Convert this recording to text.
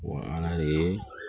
ala de ye